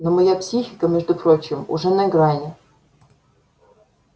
но моя психика между прочим уже на грани